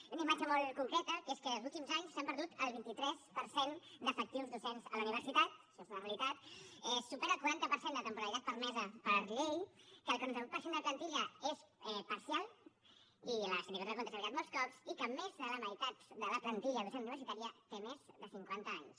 hi ha una imatge molt concreta que és que en els últims anys s’ha perdut el vint tres per cent d’efectius docents a la universitat això és una realitat es supera el quaranta per cent de la temporalitat permesa per llei que el quaranta vuit per cent de la plantilla és parcial i la sindicatura de comptes ho ha avisat molts cops i que més de la meitat de la plantilla docent universitària té més de cinquanta anys